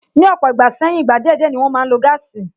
Ni ọ̀pọ̀ ìgbà sẹ́yìn, ìgbà díẹ̀ díẹ̀ ni wọn máa ń lo gáàsì